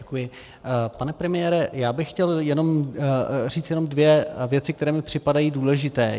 Pane premiére, já bych chtěl říct jenom dvě věci, které mi připadají důležité.